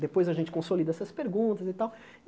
Depois a gente consolida essas perguntas e tal.